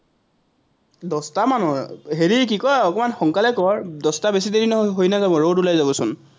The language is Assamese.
দশটামানত, হেৰি কি কয়, অকণমান সোনকালে কৰ, দশটা বেছি দেৰি হৈ নাযাব, ৰদ ওলাই যাবচোন।